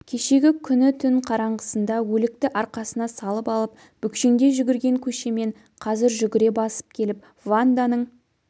кешегі күні түн қараңғысында өлікті арқасына салып алып бүкшеңдей жүгірген көшемен қазір жүгіре басып келіп ванданың